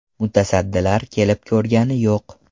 Mutasaddilar kelib ko‘rgani yo‘q.